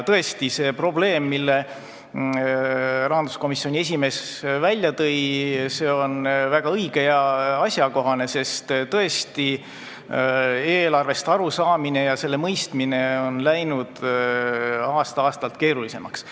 See probleem, mille rahanduskomisjoni esimees välja tõi, on väga õige ja asjakohane, sest tõesti on eelarvest arusaamine ja selle mõistmine läinud aasta-aastalt keerulisemaks.